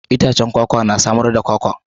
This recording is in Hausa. Itacen kwakwa na samar da kwakwa.